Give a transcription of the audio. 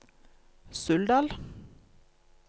Suldal